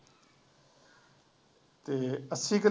ਅਤੇ ਅੱਸੀ ਕਿੱਲੇ